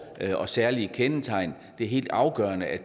og særlige kendetegn det er helt afgørende at